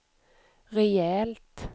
rejält